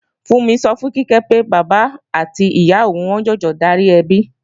Fúnmi sọ fún Kíkẹ́ pé, bàbá àti ìyá òun ni wọ́n ń jọjọ darí ẹbi